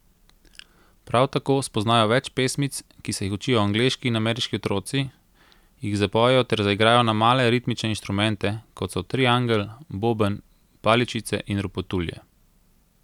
Prav tako spoznajo več pesmic, ki se jih učijo angleški in ameriški otroci, jih zapojejo ter zaigrajo na male ritmične inštrumente, kot so triangel, boben, paličice in ropotulje.